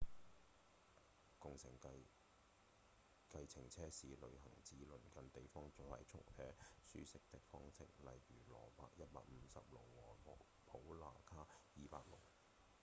共乘計程車是旅行至鄰近地方快速且舒適的方式例如帕羅150努和普那卡200努